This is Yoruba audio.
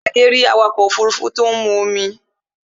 Adé rí tí awakọ̀ òfurufú mu omi